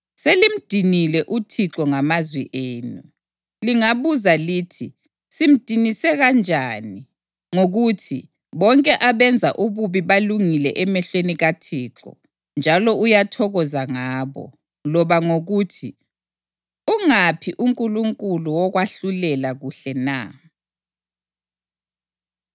Selimdinile uThixo ngamazwi enu. Lingabuza lithi, “Simdinise kanjani?” Ngokuthi, “Bonke abenza ububi balungile emehlweni kaThixo, njalo uyathokoza ngabo,” loba ngokuthi, “Ungaphi uNkulunkulu wokwahlulela kuhle na?”